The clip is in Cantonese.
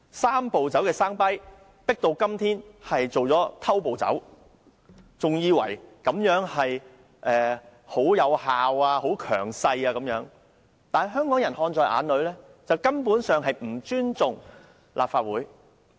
"三步走"的 sound bite 今天變成了"偷步走"，政府還以為這樣做奏效和能夠維持強勢，但香港人看在眼裏，認為政府根本不尊重立法會。